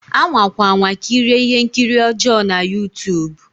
Anwakwa anwa kirie ihe nkiri ọjọ na Youtube